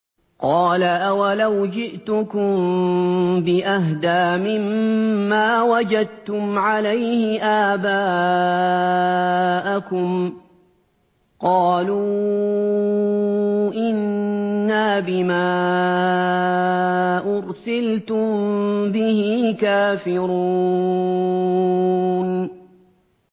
۞ قَالَ أَوَلَوْ جِئْتُكُم بِأَهْدَىٰ مِمَّا وَجَدتُّمْ عَلَيْهِ آبَاءَكُمْ ۖ قَالُوا إِنَّا بِمَا أُرْسِلْتُم بِهِ كَافِرُونَ